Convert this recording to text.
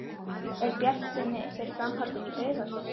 Er bjartsýni fyrir framhaldinu í Breiðholtinu?